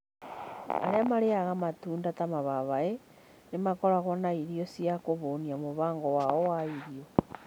Arĩa marĩĩaga matunda ta mababaĩ nĩ makoragwo na irio cia kũhũnia mũbango wao wa irio.